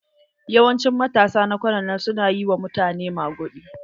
Yawancin matasa na kwanan nan su na yi wa mutane maguɗi.